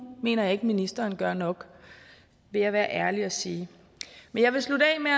mener jeg ikke at ministeren gør nok vil jeg være ærlig og sige men jeg vil slutte af med